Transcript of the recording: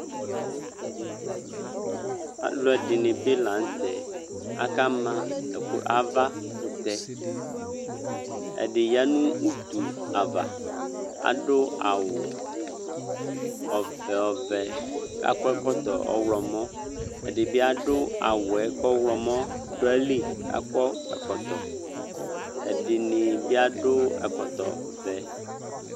alu ɛdini bi la nu tɛ aka ma ava kutɛ ɛdi ya nu utu ava adu awu ɔvɛ akɔ ɛkɔtɔ ɔwlɔmɔ ɛdibi adu awu ku ɔwlɔmɔ du ayili ɛdini bi adu ɛkɔtɔ vɛ